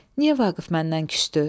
Niyə Vaqif məndən küsdü?